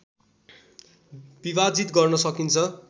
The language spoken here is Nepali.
विभाजित गर्न सकिन्छ